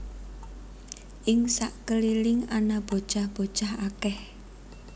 Ing sakeliling ana bocah bocah akèh